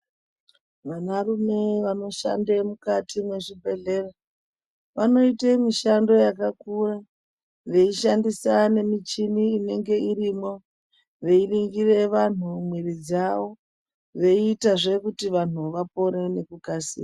Vanarume vanoshande mukati mwezvibhedhlera, vanoite mishando yakakura, veishandisa nemichini inenge irimwo, veiringire vanhu mwiri dzawo, veiitazve kuti vanhu vapore nekukasira.